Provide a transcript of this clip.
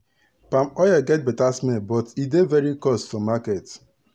palm oil get better smell but e dey very cost for market.